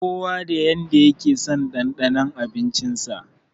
Kowa da irin yanda yakeson ɗanɗanon abinci sa.